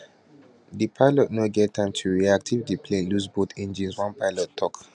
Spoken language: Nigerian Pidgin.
di pilot no get time to to react if di plane loose both engines one pilot tok